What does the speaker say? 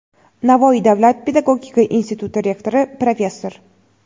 Navoiy davlat pedagogika instituti rektori, professor;.